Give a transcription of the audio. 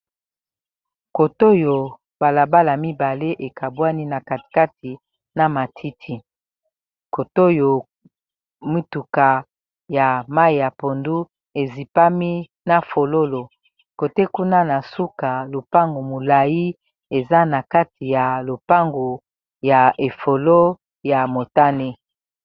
Kotoyo balabala mibale ekabwani na katikati na matiti kotoyo mituka ya mai ya pondu ezipami na fololo kote kuna na suka lopango molayi eza na kati ya lopango ya efolo ya motane